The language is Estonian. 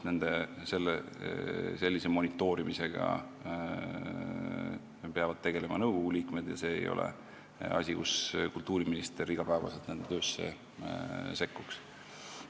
Sellise monitoorimisega peavad tegelema nõukogu liikmed ja see ei ole koht, kus kultuuriminister iga päev nende töösse sekkuks.